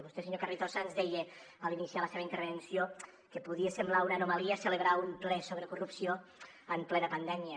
vostè senyor carrizosa ens deia a l’iniciar la seva intervenció que podia semblar una anomalia celebrar un ple sobre corrupció en plena pandèmia